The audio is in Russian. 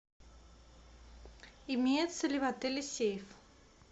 имеется ли в отеле сейф